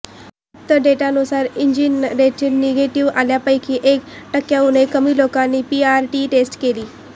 उपलब्ध डेटानुसार antigen test negative आलेल्यांपैकी एक टक्क्यांहून कमी लोकांनी पीसीआर टेस्ट केली